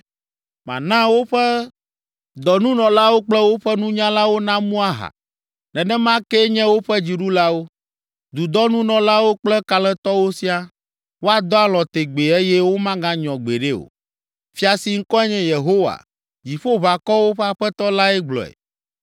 Mana woƒe dɔnunɔlawo kple woƒe nunyalawo namu aha, nenema kee nye woƒe dziɖulawo, dudɔnunɔlawo kple kalẽtɔwo siaa; woadɔ alɔ̃ tegbee eye womaganyɔ gbeɖe o.” Fia si ŋkɔe nye Yehowa, Dziƒoʋakɔwo ƒe Aƒetɔ lae gblɔe.